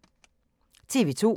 TV 2